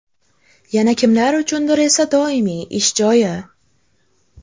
Yana kimlar uchundir esa doimiy ish joyi.